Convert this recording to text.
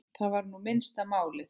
Það var nú minnsta málið.